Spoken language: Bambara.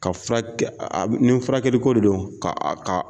Ka furakɛ nin furakɛkɛliko de don k'a ka k"a